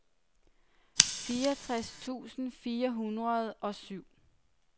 fireogtres tusind fire hundrede og syv